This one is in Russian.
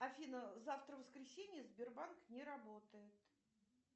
афина завтра воскресенье сбербанк не работает